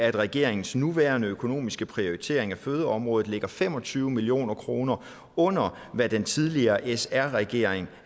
at regeringens nuværende økonomiske prioritering af fødeområdet ligger fem og tyve million kroner under hvad den tidligere sr regering